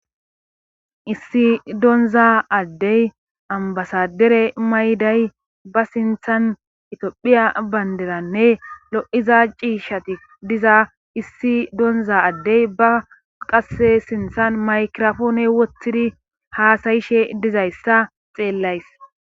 issi donza addey ambasadere mayday ba sinthan itiophiya banderanne lo'iza ciishshati diza issi doonza addey ba qase sinthan maykirafoone wottidi haasayishe dizayssa xeellays